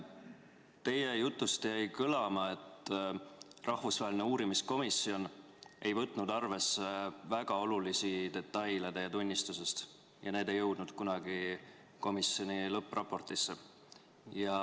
Teie jutust jäi kõlama, et rahvusvaheline uurimiskomisjon ei võtnud arvesse väga olulisi detaile teie tunnistusest ja need ei jõudnud kunagi komisjoni lõppraportisse.